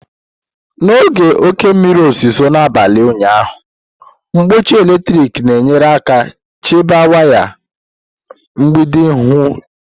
N'oge oke mmiri ozuzo n'abalị ụnyaahụ, nkpuchi eletrik na-enyere aka chebe waya megide ihu igwe.